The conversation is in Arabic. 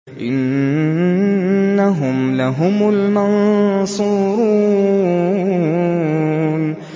إِنَّهُمْ لَهُمُ الْمَنصُورُونَ